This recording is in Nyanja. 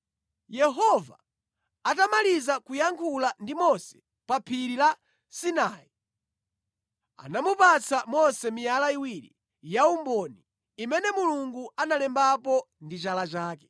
Yehova atamaliza kuyankhula ndi Mose pa phiri la Sinai, anamupatsa Mose miyala iwiri yaumboni, imene Mulungu analembapo ndi chala chake.